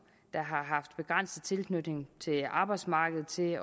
der har haft en begrænset tilknytning til arbejdsmarkedet til